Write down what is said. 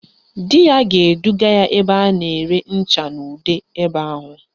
Di ya ga-eduga ya ebe a na-ere ncha na ude ebe ahụ